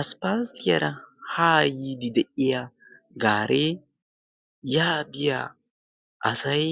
asppatiyaara haa yiidi de7iya gaaree yaabiyaa asay